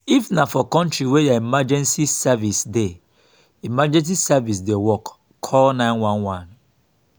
if na for country wey their emergency service dey emergency service dey work call 911